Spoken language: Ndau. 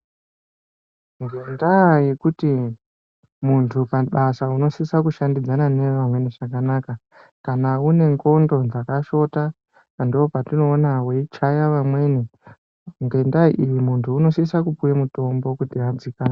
Ngendaa yekuti muntu pabasa unosisa kushandidzana nevamweni zvakanaka kana une ngondo dzakashota ndopatinoona weichate amweni ngendaa iyi muntu unosise kupuwe mutombo kuti adzikame.